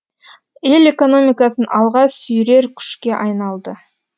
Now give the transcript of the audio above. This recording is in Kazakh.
ел экономикасын алға сүйрер күшке айналды